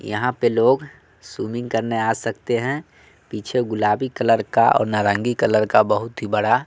यहां पे लोग स्विमिंग करने आ सकते हैं पीछे गुलाबी कलर का और नारंगी कलर का बहुत ही बड़ा--